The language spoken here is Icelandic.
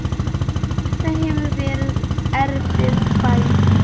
Þetta hefur verið erfið fæðing.